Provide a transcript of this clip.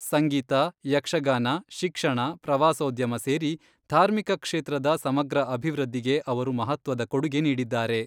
ಸಂಗೀತ, ಯಕ್ಷಗಾನ, ಶಿಕ್ಷಣ, ಪ್ರವಾಸೋದ್ಯಮ ಸೇರಿ ಧಾರ್ಮಿಕ ಕ್ಷೇತ್ರದ ಸಮಗ್ರ ಅಭಿವೃದ್ಧಿಗೆ ಅವರು ಮಹತ್ವದ ಕೊಡುಗೆ ನೀಡಿದ್ದಾರೆ.